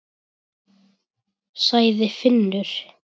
sagði Finnur.